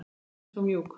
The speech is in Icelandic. Röddin svo mjúk.